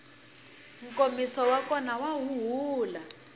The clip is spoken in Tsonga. nkomiso wa kona wa huhula